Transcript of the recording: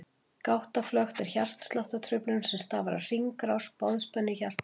Gáttaflökt er hjartsláttartruflun sem stafar af hringrás boðspennu í hjartagáttum.